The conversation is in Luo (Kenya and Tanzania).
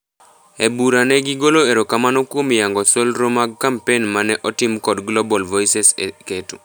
Ebura ne gigolo erokamano kuom yango solro mag kampen mane otim kod global Voices eketo